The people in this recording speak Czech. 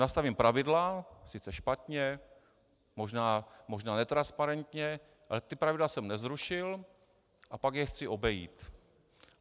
Nastavím pravidla, sice špatně, možná netransparentně, ale ta pravidla jsem nezrušil, a pak je chci obejít.